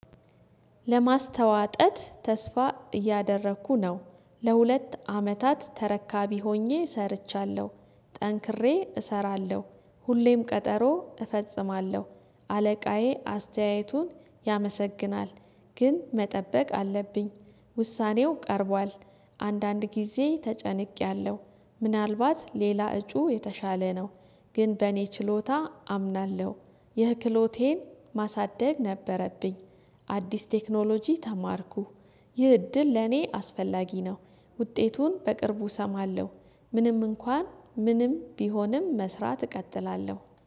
ለማስተዋጠት ተስፋ እያደረኩ ነው ለሁለት አመታት ተረካቢ ሆኜ ሰርቻለሁ ጠንክሬ እሰራለሁ ሁሌም ቀጠሮ እፈጽማለሁ አለቃዬ አስተያየቱን ያመሰግናል ግን መጠበቅ አለብኝ ውሳኔው ቀርቧል አንዳንድ ጊዜ ተጨንቄያለሁ ምናልባት ሌላ እጩ የተሻለ ነው። ግን በእኔ ችሎታ አምናለሁ ይህ ክህሎቴን ማሳደግ ነበረብኝ አዲስ ቴክኖሎጂ ተማርኩ ይህ እድል ለኔ አስፈላጊ ነው። ውጤቱን በቅርቡ እሰማለሁ ምንም እንኳን ምንም ቢሆንም መስራት እቀጥላለሁ